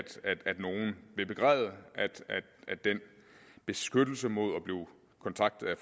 nogen vil begræde at den beskyttelse mod at blive kontaktet af